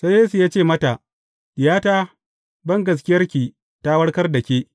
Sai Yesu ya ce mata, Diyata, bangaskiyarki ta warkar da ke.